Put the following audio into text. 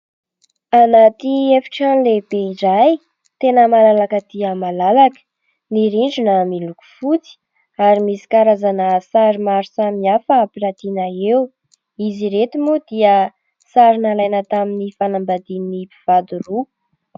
Anaty efitrano lehibe iray tena malalaka dia malalaka: ny rindrina miloko fotsy ary misy karazana sary maro samy hafa ampirantiana eo; izy ireto moa dia sary nalaina tamin'ny fanambadian'ny mpivady roa.